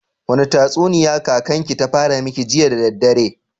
Wani tatsuniya kakan ki ta fara miki jiya da daddare?